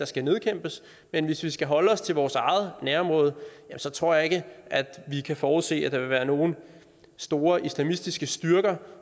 skal nedkæmpes men hvis vi skal holde os til vores eget nærområde ja så tror jeg ikke at vi kan forudse at der vil være nogle store islamistiske styrker